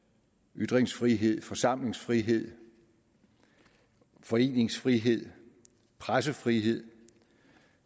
ytringsfrihed forsamlingsfrihed foreningsfrihed pressefrihed